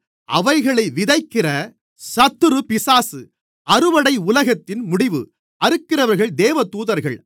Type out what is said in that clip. அவைகளை விதைக்கிற சத்துரு பிசாசு அறுவடை உலகத்தின் முடிவு அறுக்கிறவர்கள் தேவதூதர்கள்